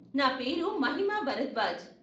నా పేరు మహిమా భరద్వాజ్.